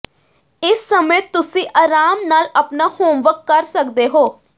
ਇਸ ਸਮੇਂ ਤੁਸੀਂ ਆਰਾਮ ਨਾਲ ਆਪਣਾ ਹੋਮਵਰਕ ਕਰ ਸਕਦੇ ਹੋ